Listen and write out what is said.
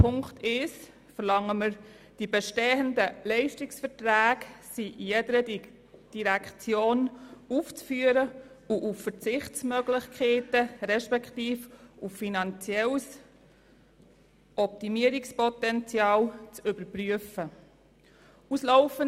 Unter Ziffer 1 verlangen wir, dass die bestehenden Leistungsverträge jeder Direktion aufzuführen und auf Verzichtsmöglichkeiten beziehungsweise auf finanzielles Optimierungspotenzial hin zu überprüfen sind.